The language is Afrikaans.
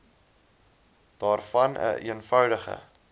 daarvan n eenvoudige